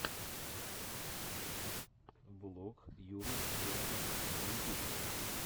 влог юры яровенкова на ютюбе